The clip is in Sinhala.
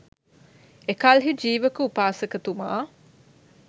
එකල්හි ජීවක උපාසකතුමා